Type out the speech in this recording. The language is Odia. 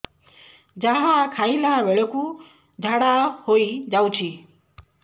ଯାହା ଖାଇଲା ବେଳକୁ ଝାଡ଼ା ହୋଇ ଯାଉଛି